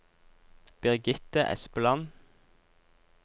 Birgitte Espeland